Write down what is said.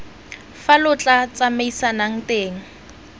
fa lo tla tsamaisanang teng